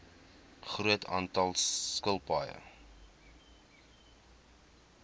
groot aantal skilpaaie